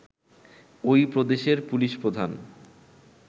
ঐ প্রদেশের পুলিশ প্রধান